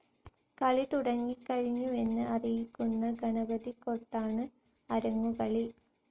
കളി തുടങ്ങിക്കഴിഞ്ഞുവെന്ന് അറിയിക്കുന്ന ഗണപതികൊട്ടാണ് അരങ്ങുകേളി.